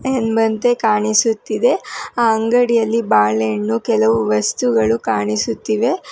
ಎಂಬಂತೆ ಕಾಣಿಸುತ್ತಿದೆ ಆ ಅಂಗಡಿಯಲ್ಲಿ ಬಾಳೆ ಹಣ್ಣು ಕೆಲವು ವಸ್ತುಗಳು ಕಾಣಿಸುತ್ತಿವೆ.